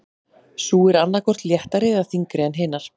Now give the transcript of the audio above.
Sú er annað hvort léttari eða þyngri en hinar.